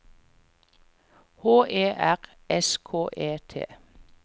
H E R S K E T